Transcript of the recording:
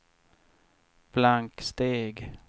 blanksteg